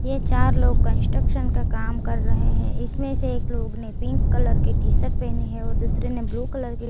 ये चार लोग कंस्ट्रक्शन का काम कर रहे हैं इसमें से एक लोग ने पिंक कलर के टी शर्ट पहनी है और दूसरे ने ब्लू कलर की --